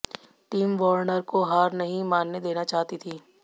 team Warner को हार नहीं मानने देना चाहती थी